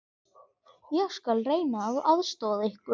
Ég skal reyna að aðstoða ykkur.